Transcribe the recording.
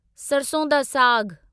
सरसों दा साग